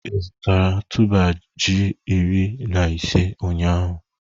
Ị zụtara tubers ji iri na ise ụnyahụ?